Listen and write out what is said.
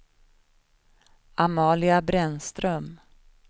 Amalia Brännström